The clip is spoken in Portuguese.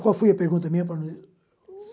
Qual foi a pergunta minha?